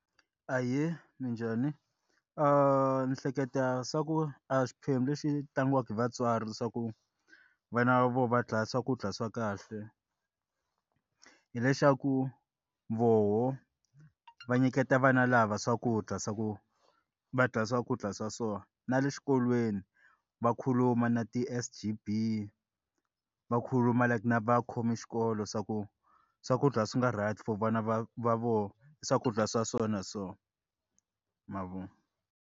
Ahee, minjhani ni hleketa swa ku a xiphemu lexi tlangiwaka hi vatswari leswaku vana vo vadya swakudya swa kahle hileswaku voho va nyiketa vana lava swakudya swa ku va dya swakudya swa so na le xikolweni va khuluma na ti S_G_B va khuluma na vakhomi xikolo swa ku swakudya swi nga right for vana va vona i swakudya swa so mavona.